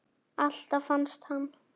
Alltaf fannst hann.